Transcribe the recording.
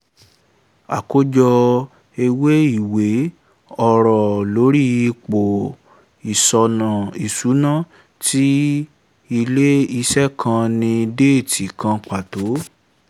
àkójọ ewé ìwé: ọ̀rọ̀ lórí ipò ìṣúná tí ilẹ̀ ìṣe kan ní déètì kan pàtó